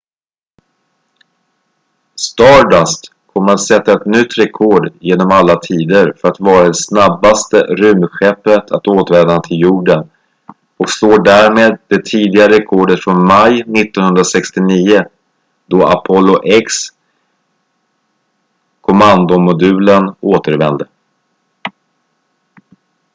stardust kommer att sätta ett nytt rekord genom alla tider för att vara det snabbaste rymdskeppet att återvända till jorden och slår därmed det tidigare rekordet från maj 1969 då apollo x-kommandomodulen återvände